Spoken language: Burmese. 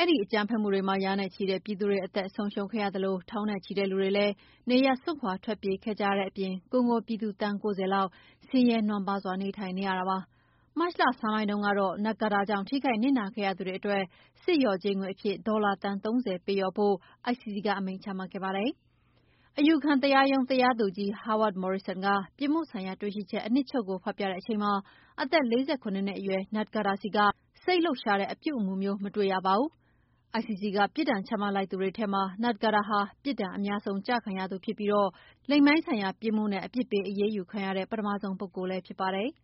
အဲဒီအကြမ်းဖက်မှုတွေမှာ ရာနဲ့ချီတဲ့ပြည်သူတွေ အသက်ဆုံးရှုံးခဲ့ရသလို ထောင်နဲ့ချီတဲ့ လူတွေလည်း နေရပ်စွန့်ခွာ ထွက်ပြေးခဲ့ကြရတဲ့အပြင် ကွန်ဂိုပြည်သူသန်း ၉၀ လောက် ဆင်းရဲနွမ်းပါးစွာ နေထိုင်နေကြရပါတယ်။ မတ်လ ဆန်းပိုင်းတုန်းကတော့ Ntaganda ကြောင့်ထိခိုက်နစ်နာခဲ့ရသူတွေအတွက် စစ်လျော်ကြေးငွေအဖြစ် ဒေါ်လာသန်း ၃၀ ပေးလျော်ဖို့ ICC က အမိန့်ချမှတ်ခဲ့ပါတယ်။ အယူခံတရားရုံး တရားသူကြီး Howard Morrison က ပြစ်မှုဆိုင်ရာ တွေ့ရှိချက် အနှစ်ချုပ်ကို ဖတ်ပြတဲ့အချိန်မှာ အသက် ၄၇ နှစ်အရွယ် Ntaganda ဆီက စိတ်လှုပ်ရှားတဲ့ အပြုအမူမျိုး မတွေ့ရပါဘူး။ ICC က ပြစ်ဒဏ်ချမှတ် လိုက်သူတွေထဲမှာ Ntaganda ဟာပြစ်ဒဏ်အများဆုံးကျခံရသူဖြစ်ပြီး လိင်ပိုင်းဆိုင်ရာပြစ်မှုနဲ့ အပြစ်ပေးအရေးယူခံရတဲ့ ပထမဆုံးပုဂ္ဂိုလ်လည်းဖြစ်ပါတယ်။